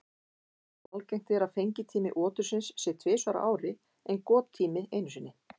Algengt er að fengitími otursins sé tvisvar á ári en gottími einu sinni.